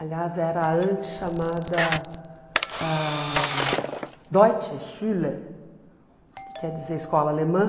Aliás, era antes chamada ãh Deutsche Schule, que quer dizer escola alemã.